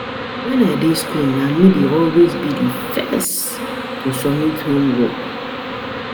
Wen I dey school na me dey always be the be the first to submit homework